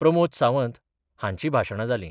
प्रमोद सावंत हांची भाशाणा जाली.